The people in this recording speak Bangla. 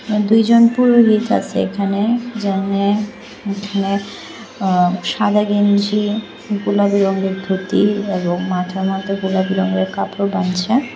দুইজন পুরোহিত আসে এখানে যাওনে উঠোনে অ সাদা গেঞ্জি গোলাপী রঙের ধুতি এবং মাথার মধ্যে গোলাপী রঙের কাপড় বাঁধছে।